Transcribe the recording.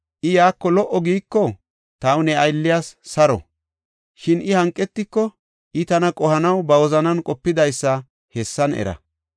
I, ‘Yaako lo77o’ giiko, taw ne aylliyas saro; shin I hanqetiko, I tana qohanaw ba wozanan qopidaysa hessan era.